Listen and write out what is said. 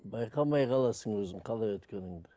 байқамай қаласың өзің қалай өткеніңді